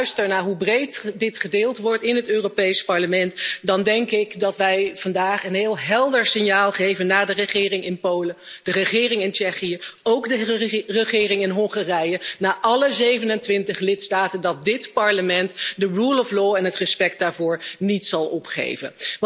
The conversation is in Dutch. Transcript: Als ik luister naar hoe breed dit gedeeld wordt in het Europees Parlement, dan denk ik dat wij vandaag een heel helder signaal geven aan de regering in Polen, de regering in Tsjechië, ook de regering in Hongarije, naar alle 27 lidstaten dat dit Parlement de rechtsstaat en het respect daarvoor niet zal opgeven.